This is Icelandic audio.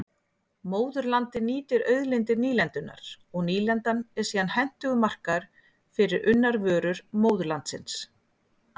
Móðurlandið nýtir auðlindir nýlendunnar og nýlendan er síðan hentugur markaður fyrir unnar vörur móðurlandsins.